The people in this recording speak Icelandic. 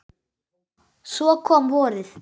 Svo kom vorið.